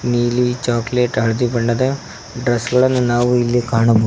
ನೀಲಿ ಚಾಕಲೇಟ್ ಹಳದಿ ಬಣ್ಣದ ಡ್ರೆಸ್ ಗಳನ್ನು ನಾವು ಇಲ್ಲಿ ಕಾಣಬಹು --